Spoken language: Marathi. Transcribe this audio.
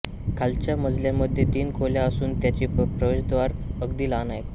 खालच्या मजल्यामध्ये तीन खोल्या असून त्यांची प्रवेशद्वारे अगदी लहान आहेत